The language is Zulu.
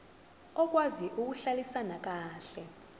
okwazi ukuhlalisana kahle